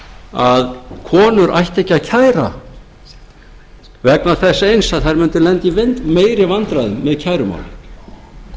að konur ættu ekki að kæra vegna þess eins að þær mundu lenda í meiri vandræðum með kærumál